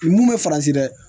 Mun bɛ faransi dɛ